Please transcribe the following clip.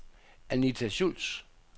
Anita Schultz